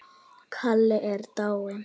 Kalla er dáin.